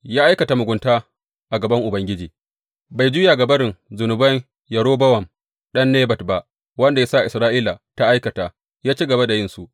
Ya aikata mugunta a gaban Ubangiji, bai juya ga barin zunuban Yerobowam ɗan Nebat ba, wanda ya sa Isra’ila ta aikata, ya ci gaba da yinsu.